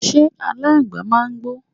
ṣé aláǹgbàá màá ń gbó?